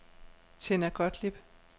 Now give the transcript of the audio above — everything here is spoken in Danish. Tinna Gottlieb